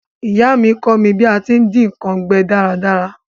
Ìyá mí kọ́ mí bí a ti n dín nkan gbẹ dáradára